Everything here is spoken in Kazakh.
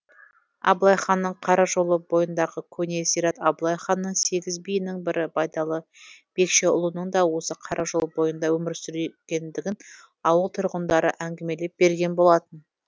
абылай ханның қара жолы бойындағы көне зират абылай ханның сегіз биінің бірі байдалы бекшеұлының да осы қара жол бойында өмір сүргендігін ауыл тұрғындары әңгімелеп берген болатын